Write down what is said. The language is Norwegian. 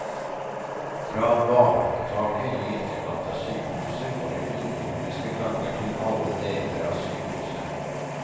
Fra varemottaket i ytterkant av sykehuset går det underjordiske ganger til alle deler av sykehuset.